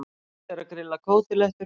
Tóti er að grilla kótilettur.